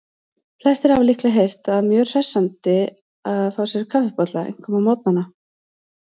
Flestir hafa líklega heyrt að sé mjög hressandi að fá sér kaffibolla, einkum á morgnana.